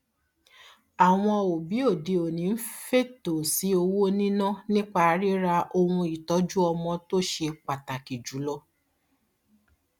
àwọn òbí òdeòní ń fètò sí owó níná nípa ríra ohunìtọjúọmọ tó ṣe pàtàkì jùlọ